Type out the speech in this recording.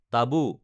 টাবু